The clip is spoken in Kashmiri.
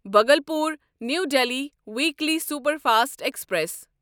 Bhagalpur new Delhi weekly superfast express